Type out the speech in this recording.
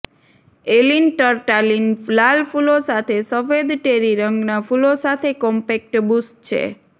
ઍલિન ટર્ટાલિન લાલ ફૂલો સાથે સફેદ ટેરી રંગના ફૂલો સાથે કોમ્પેક્ટ બુશ છે